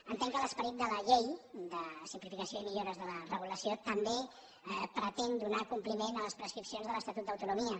entenc que l’esperit de la llei de simplificació i millora de la regulació també pretén donar compliment a les prescripcions de l’estatut d’autonomia